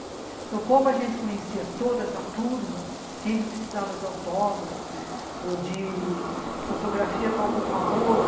Então, como a gente conhecia toda essa turma, sempre precisava de autógrafo ou de fotografia com algum famoso.